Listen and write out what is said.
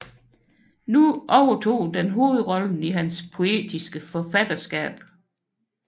Nu overtog den hovedrollen i hans poetiske forfatterskab